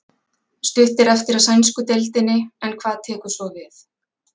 Stutt er eftir af sænsku deildinni en hvað tekur svo við?